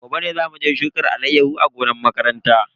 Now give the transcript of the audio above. Gobe ne zamu je mu shuka alayyahu a gonan makaranta.